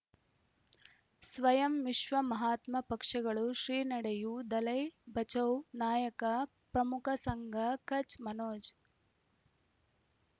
ಸ್ವಯಂ ವಿಶ್ವ ಮಹಾತ್ಮ ಪಕ್ಷಗಳು ಶ್ರೀ ನಡೆಯೂ ದಲೈ ಬಚೌ ನಾಯಕ ಪ್ರಮುಖ ಸಂಘ ಕಚ್ ಮನೋಜ್